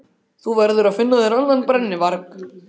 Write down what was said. Þú verður að finna þér annan brennuvarg.